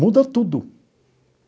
Muda tudo.